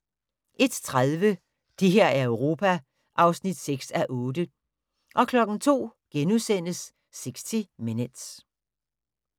01:30: Det her er Europa (6:8) 02:00: 60 Minutes *